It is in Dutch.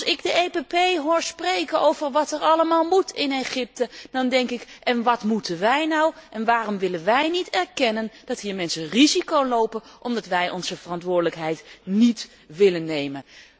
En als ik de PPE Fractie hoor spreken over wat er allemaal in Egypte moet, dan denk ik wat moeten wij nu en waarom willen wij niet erkennen dat hier mensen risico lopen, omdat wij onze verantwoordelijkheid niet willen nemen.